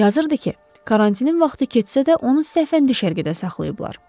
Yazırdı ki, karantinin vaxtı keçsə də onu səhvən düşərgədə saxlayıblar.